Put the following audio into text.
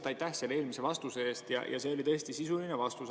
Kõigepealt aitäh selle eelmise vastuse eest, mis oli tõesti sisuline vastus.